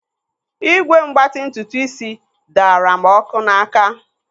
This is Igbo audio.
Ígwè mgbatị ntutuisi daara m ọkụ n'áká.